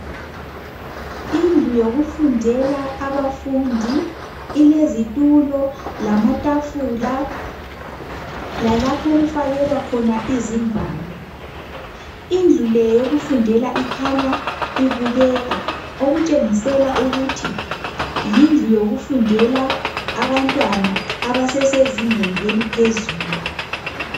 Indlu yokufundela abafundi, ilezitulo lamatafula. Lalapho okufakelwa khona izingwalo. Indlu le yokufundela ikhanya ibukeka. Okutshengisela ukuthi yindlu, ngeyokufundela abantwana abasezingeni eliphezulu.